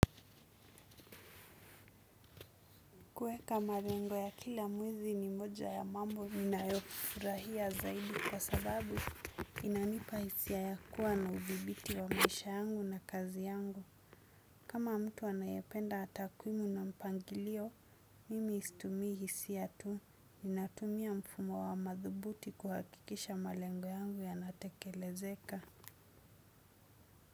Kuweka marengo ya kila mwizi ni moja ya mambo inayofurahia zaidi kwa sababu inanipa hisia ya kuwa na uvibiti wa maisha yangu na kazi yangu. Kama mtu anayependa hata takwimu na mpangilio, mimi situmi hisia tu. Ninatumia mfumo wa madhubuti kuhakikisha malengo yangu yanatekelezeka.